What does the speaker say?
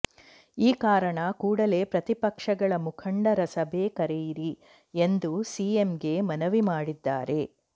ಈ ಕಾರಣ ಕೂಡಲೇ ಪ್ರತಿಪಕ್ಷಗಳ ಮುಖಂಡರ ಸಭೆ ಕರೆಯಿರಿ ಎಂದು ಸಿಎಂಗೆ ಮನವಿ ಮಾಡಿದ್ದಾರೆ